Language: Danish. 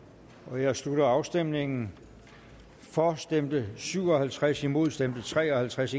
jeg slutter afstemningen for stemte syv og halvtreds imod stemte tre og halvtreds